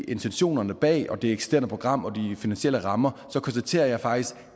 intentionerne bag og om det eksisterende program og de finansielle rammer så konstaterer jeg faktisk